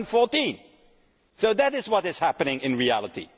2014. That is what is happening in reality.